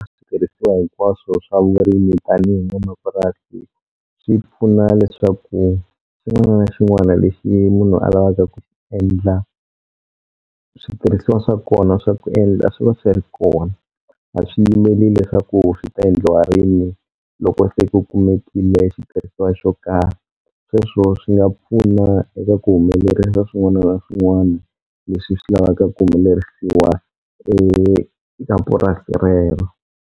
Switirhisiwa hinkwaswo swa vurimi tanihi n'wanamapurasi swi pfuna leswaku xin'wana na xin'wana lexi munhu a lavaka ku endla switirhisiwa swa kona swa ku endla swi va swi ri kona a swi yimeli leswaku swi ta endliwa rini loko se ku kumekile xitirhisiwa xo karhi sweswo swi nga pfuna eka ku humelerisa swin'wana na swin'wana leswi swi lavaka ku humelerisiwa eka purasi rero.